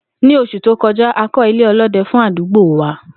Ní os̩ù tó ko̩já, a kó̩ ilé̩ o̩ló̩de̩ fún àdúgbò wa